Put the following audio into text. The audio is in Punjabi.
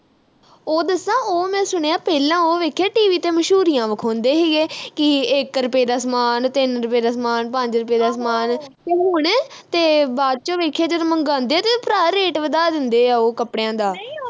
ਉਹ ਦੱਸਾਂ ਉਹ ਮੈਂ ਸੁਣਿਆ ਪਹਿਲਾਂ ਉਹ ਵੇਖਿਆ tv ਤੇ ਮਸ਼ਹੂਰੀਆਂ ਵਿਆਉਦੇ ਹੀ ਇਹ ਕਿ ਇਕ ਰੁਪਏ ਦਾ ਸਾਮਾਨ ਤਿੰਨ ਰੁਪਏ ਦਾ ਸਾਮਾਨ ਪੰਜ ਰੁਪਏ ਦਾ ਸਾਮਾਨ ਤੇ ਹੁਣ ਤੇ ਬਾਅਦ ਵਿਚ ਵੇਖਿਆ ਜਦੋਂ ਮੰਗਵਾਉਦੇ ਭਰਾ ਵਧਾ ਦਿੰਦੇ ਆ ਉਹ ਕੱਪੜਿਆਂ ਦਾ